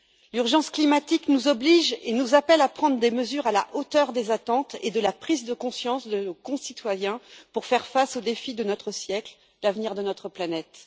L'urgence climatique nous oblige et nous appelle à prendre des mesures à la hauteur des attentes et de la prise de conscience de nos concitoyens, pour faire face au défi de notre siècle l'avenir de notre planète.